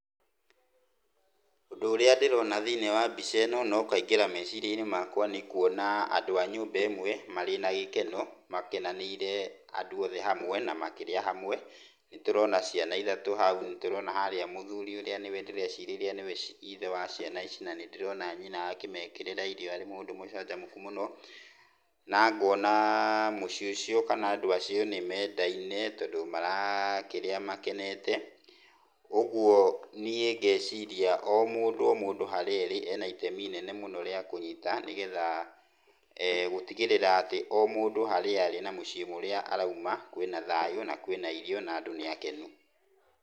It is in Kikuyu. Ũndũ ũria ndĩrona thĩinĩ wa mbica ĩno no ũkaigĩra mecirĩainĩ makwa nĩ kuona andũ a nyũmba ĩmwe marĩ na gĩkeno makenanĩire andũ othe hamwe na makĩrĩanĩra hamwe. Nĩ tũrona ciana ithatũ hau, nĩturona harĩa mũthuri ũrĩa nĩwe ndĩreciria nĩwe ithe wa ciana icio na nĩndĩrona nyina akĩmekĩrĩra irio arĩ mũndũ mũcanjamũku mũno na ngona mũciĩ ucio kana andũ acio nĩ mendaine tondũ marakĩrĩa makenete, ũguo niĩ ngeciria o mũndũ o mũndũ harĩa arĩ ena itemi inene mũno rĩa kũnyita nĩgetha gũtigĩrĩra atĩ mũndũ o harĩa arĩ na mũciĩ ũrĩa arauma kwĩna thayũ na kwĩna irio na andũ nĩ akenu.